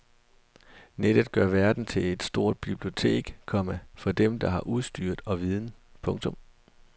Nettet gør verden til et stort bibliotek, komma for dem der har udstyr og viden. punktum